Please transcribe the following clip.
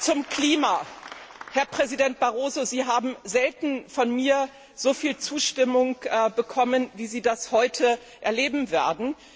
Zum Klima Herr Präsident Barroso, Sie haben selten von mir so viel Zustimmung bekommen, wie Sie das heute erleben werden.